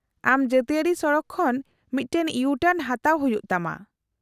-ᱟᱢ ᱡᱟᱹᱛᱤᱭᱟᱹᱨᱤ ᱥᱚᱲᱚᱠ ᱠᱷᱚᱱ ᱢᱤᱫᱴᱟᱝ ᱤᱭᱩ ᱴᱟᱨᱱ ᱦᱟᱛᱟᱣ ᱦᱩᱭᱩᱜ ᱛᱟᱢᱟ ᱾